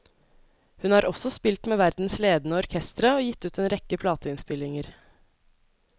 Hun har også spilt med verdens ledende orkestre og gitt ut en rekke plateinnspillinger.